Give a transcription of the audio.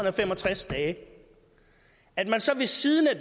og fem og tres dage at man så ved siden af